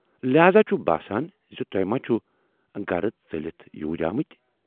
لہذا چھُم باسان زِ تُہۍ ما چھِوٕ گرٕ ژٔلِتھ یور آمٕتۍ۔